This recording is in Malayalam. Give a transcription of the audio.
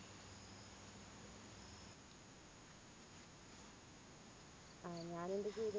ആഹ് ഞാനും എൻറെ ജീവിതത്തി